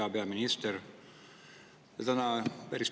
Hea peaminister!